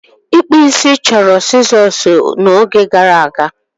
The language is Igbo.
Ịkpụ isi chọrọ sizoosi n'oge gara aga.